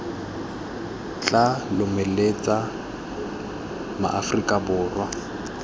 tla lomeletsa ma aforika borwa